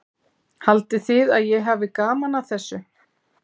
Haldið þið að ég hafi gaman að þessu?